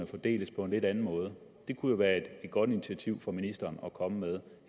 fordeles på en anden måde det kunne være et godt initiativ for ministeren at komme med